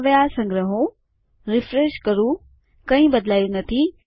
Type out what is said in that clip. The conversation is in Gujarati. જો હું હવે આ સંગ્રહૂ રીફ્રેશ કરું કંઈ બદલાયું નથી